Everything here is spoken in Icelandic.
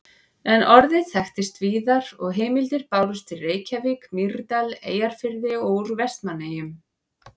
En orðið þekktist víðar og heimildir bárust úr Reykjavík, Mýrdal, Eyjafirði og úr Vestmannaeyjum.